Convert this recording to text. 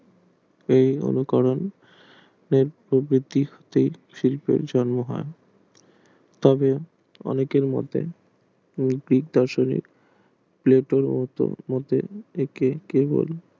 এই নবীকরণ প্রো প্রবৃত্তি শিল্পের জন্য হয় তবে অনেকের মতে